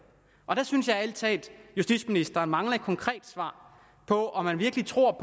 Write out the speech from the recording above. jeg synes ærlig talt justitsministeren mangler et konkret svar på om man virkelig tror